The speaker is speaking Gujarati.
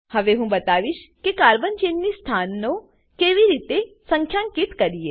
હવે હું બતાવીશ કે કાર્બન ચેન ની સ્થાનઓ ને કેવી રીતે સંખ્યાકીત કરીએ